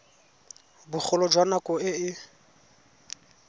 bogolo jwa nako e e